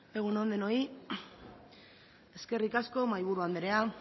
egun on denoi eskerrik asko mahaiburu andrea